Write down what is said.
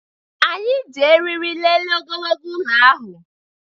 Anyị ji eriri lelee ogologo ụlọ ahụ